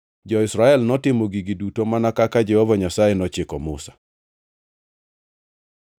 Jo-Israel notimo gigi duto mana kaka Jehova Nyasaye nochiko Musa.